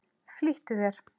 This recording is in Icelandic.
Flýttu þér.